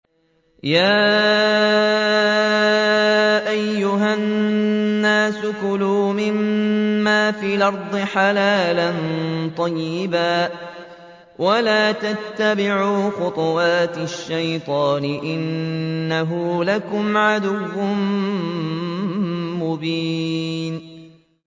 يَا أَيُّهَا النَّاسُ كُلُوا مِمَّا فِي الْأَرْضِ حَلَالًا طَيِّبًا وَلَا تَتَّبِعُوا خُطُوَاتِ الشَّيْطَانِ ۚ إِنَّهُ لَكُمْ عَدُوٌّ مُّبِينٌ